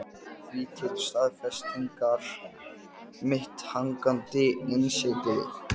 Því til staðfestingar mitt hangandi innsigli.